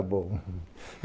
É, então tá bom.